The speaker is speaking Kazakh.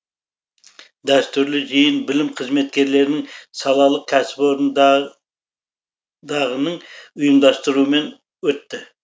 дәстүрлі жиын білім қызметкерлерінің салалық кәсіпорындағының ұйымдастыруымен өтті